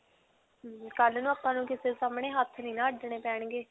ਹਮਮ ਕਲ੍ਹ ਨੂੰ ਨਾ ਆਪਾਂ ਨੂੰ ਕਿਸੇ ਦੇ ਸਾਹਮਣੇ ਹੱਥ ਨਹੀਂ ਨਾ ਅੱਡਣੇ ਪੈਣਗੇ.